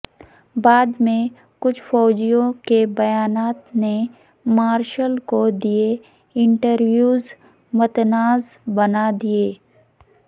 بعد میں کچھ فوجیوں کے بیانات نے مارشل کو دیے انٹرویوز متنازع بنا دیے